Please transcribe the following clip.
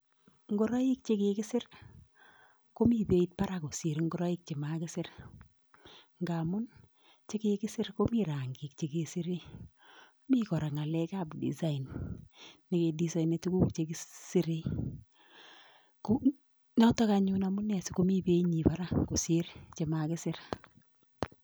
Ngoroik che kikisir komi beit barak kosir ingoroik chemakisir, ngamun chekikisir komi rangik che kesire, mi kora ngalek ab design, ne kedesainani tukuk che kisirei. Notok anyun sikomi binyi barak kosir chemakisir.